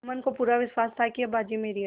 जुम्मन को पूरा विश्वास था कि अब बाजी मेरी है